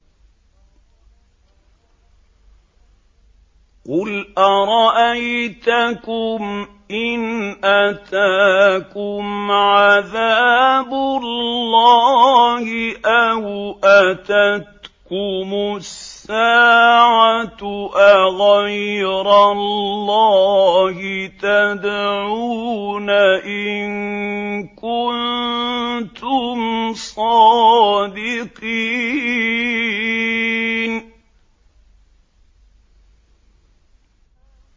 قُلْ أَرَأَيْتَكُمْ إِنْ أَتَاكُمْ عَذَابُ اللَّهِ أَوْ أَتَتْكُمُ السَّاعَةُ أَغَيْرَ اللَّهِ تَدْعُونَ إِن كُنتُمْ صَادِقِينَ